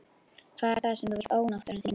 Hvað er það sem þú vilt ónáttúran þín?